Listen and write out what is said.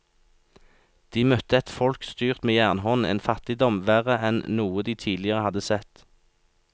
De møtte et folk styrt med jernhånd, en fattigdom verre enn noe de tidligere hadde sett.